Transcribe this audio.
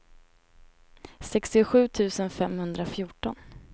sextiosju tusen femhundrafjorton